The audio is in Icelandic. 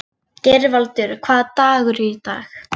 Geirvaldur, hvaða dagur er í dag?